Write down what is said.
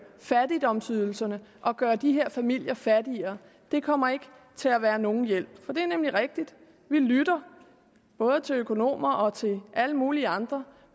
fattigdomsydelserne og gøre de her familier fattigere kommer ikke til at være nogen hjælp det er nemlig rigtigt at vi lytter både til økonomer og til alle mulige andre